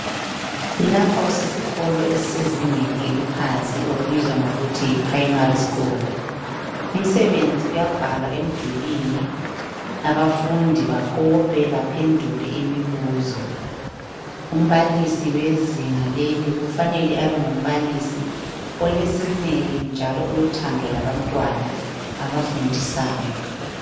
Lapha kusesikolo esisezingeni eliphansi okubizwa kuthiwa yiprimary school umsebenzi uyabhalwa emdulini abafundi bakope baphendule imibuzo umbalisi wezinga leli kufanele abe ngumbalisi olesineke njalo olothando labantwana obafundisayo